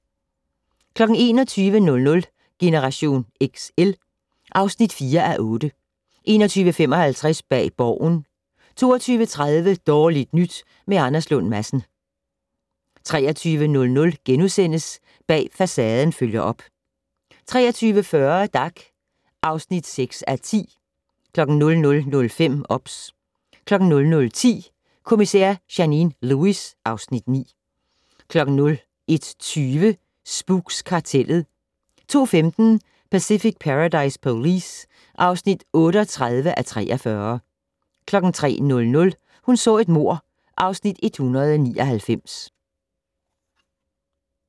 21:00: Generation XL (4:8) 21:55: Bag Borgen 22:30: Dårligt nyt med Anders Lund Madsen 23:00: Bag Facaden følger op * 23:40: Dag (6:10) 00:05: OBS 00:10: Kommissær Janine Lewis (Afs. 9) 01:20: Spooks: Kartellet 02:15: Pacific Paradise Police (38:43) 03:00: Hun så et mord (Afs. 199)